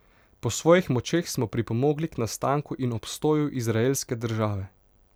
Po svojih močeh smo pripomogli k nastanku in obstoju izraelske države.